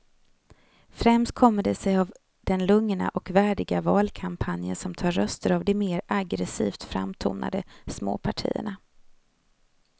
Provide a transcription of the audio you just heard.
Främst kommer det sig av den lugna och värdiga valkampanjen som tar röster av de mer aggresivt framtonade småpartierna.